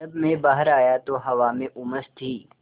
जब मैं बाहर आया तो हवा में उमस थी